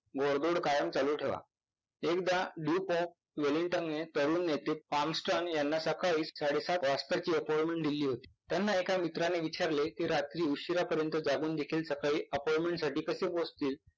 घोडदौड कायम चालू ठेवा. एकदा प्रवीण नेते यांना सकाळी साडे सात oscor ची appointment दिली होती. त्यांना एका मित्राने विचारले कि रात्री उशिरापर्यंत जागुनदेखील appoinment साठी कसे पोचतील?